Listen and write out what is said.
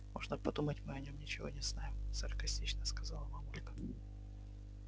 можно подумать мы о нем ничего не знаем саркастично сказала мамулька